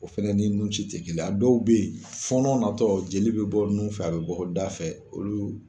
O fɛnɛ ni nun ci te kelen ye. A dɔw be yen fɔɔnɔ na tɔ jeli be bɔ nun fɛ a be bɔ da fɛ olu